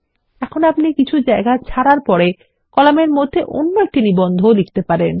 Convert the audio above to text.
এখন আপনি কিছু জায়গা ছাড়ার পরে কলামের মধ্যে অন্য একটি নিবন্ধ লিখতে পারেন